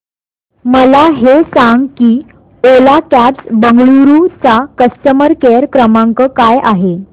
मला हे सांग की ओला कॅब्स बंगळुरू चा कस्टमर केअर क्रमांक काय आहे